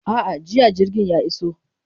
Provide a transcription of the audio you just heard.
A'a, jiya jirgin ya iso.